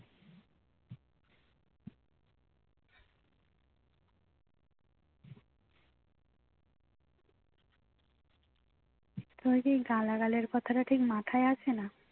তোমার কি গালাগালের কথাটা ঠিক মাথায় আসে না